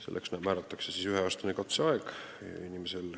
Selleks määratakse inimesele üheaastane katseaeg.